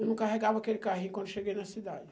Eu não carregava aquele carrinho quando eu cheguei na cidade.